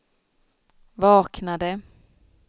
vaknade